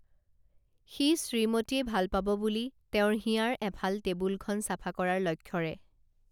সি শ্ৰীমতীয়ে ভাল পাব বুলি তেওঁৰ হিয়াৰ এফাল টেবুলখন চাফা কৰাৰ লক্ষ্যৰে